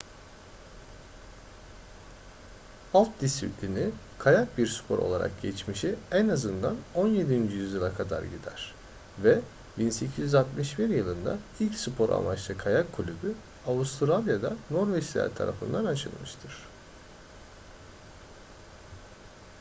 alp disiplini kayak bir spor olarak geçmişi en azından 17. yüzyıla kadar gider ve 1861 yılında ilk spor amaçlı kayak kulübü avustralya'da norveçliler tarafından açılmıştır